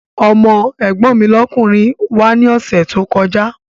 Ọmọ́ ẹ̀gbọ́n mi lọ́kùnrin wá ní ọ̀sẹ̀ tó kọjá